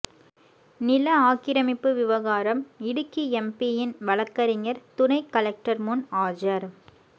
நில ஆக்கிரமிப்பு விவகாரம் இடுக்கி எம்பியின் வழக்கறிஞர் துணைகலெக்டர் முன் ஆஜர்